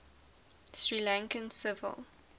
sri lankan civil